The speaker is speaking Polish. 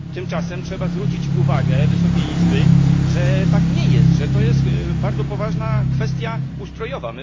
Tymczasem trzeba zwrócić uwagę Wysokiej Izby, że tak nie jest, że to jest bardzo poważna kwestia ustrojowa.